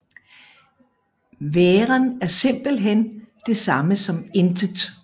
Væren er simpelthen det samme som intet